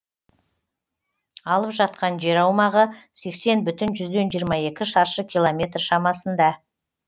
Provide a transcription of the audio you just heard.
алып жатқан жер аумағы сексен бүтін жүзден жиырма екі шаршы километр шамасында